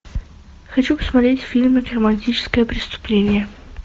хочу посмотреть фильм романтическое преступление